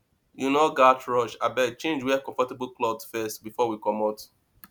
you no gats rush abeg change wear comfortable clothes first before we comot